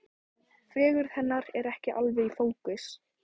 Fegurð hennar er ekki alveg í fókus.